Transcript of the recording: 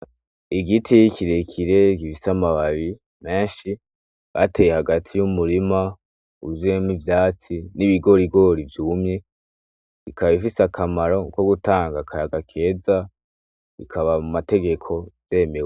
Igiti kirekire gifise amababi menshi bateye hagati y'umurima wuzuyemwo ivyatsi n'ibigorigori vyumye bikaba ifise akamaro ko gutanga akayaga keza, bikaba mu mategeko vyemewe.